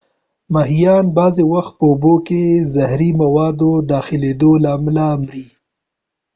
ماهیان بعضی وخت په اوبو کې د زهری موادو د داخلیدو له امله مري